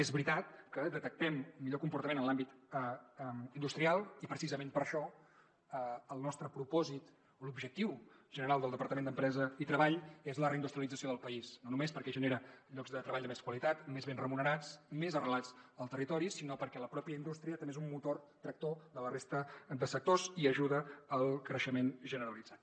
és veritat que detectem millor comportament en l’àmbit industrial i precisament per això el nostre propòsit o l’objectiu general del departament d’empresa i treball és la reindustrialització del país no només perquè genera llocs de treball de més qualitat més ben remunerats més arrelats al territori sinó perquè la pròpia indústria també és un motor tractor de la resta de sectors i ajuda al creixement generalitzat